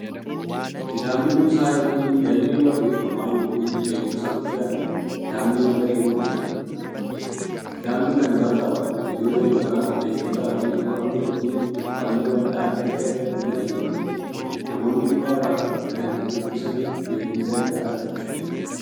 Kitaabni kuusaa yookiin galmee barreeffamaa yookiin beekumsaa guddaadhan. Kitaabni madda beekumsaati. Kitaabni kan barraa'u hayyoota yookiin beektotaan fi qorannoo fi qo'annoo bal'aan erga irratti godhameeti. Namoonnis kitaaba kan dubbisaniif beekumsa irraa argachuuf.